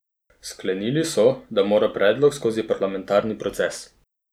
Sklenili so, da mora predlog skozi parlamentarni proces.